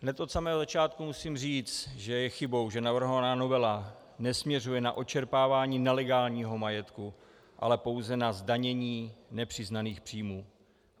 Hned od samého začátku musím říct, že je chybou, že navrhovaná novela nesměřuje na odčerpávání nelegálního majetku, ale pouze na zdanění nepřiznaných příjmů.